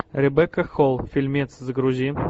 ребекка холл фильмец загрузи